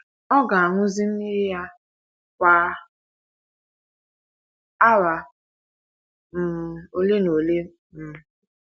Ọ ga - aṅụzi mmiri ya kwa awa um ole na ole. um